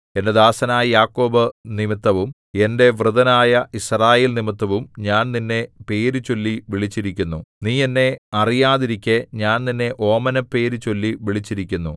എന്റെ ദാസനായ യാക്കോബ് നിമിത്തവും എന്റെ വൃതനായ യിസ്രായേൽനിമിത്തവും ഞാൻ നിന്നെ പേര് ചൊല്ലി വിളിച്ചിരിക്കുന്നു നീ എന്നെ അറിയാതിരിക്കെ ഞാൻ നിന്നെ ഓമനപ്പേര് ചൊല്ലി വിളിച്ചിരിക്കുന്നു